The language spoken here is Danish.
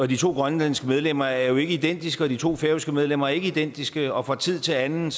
de to grønlandske medlemmer er jo ikke identiske og de to færøske medlemmer er ikke identiske og fra tid til anden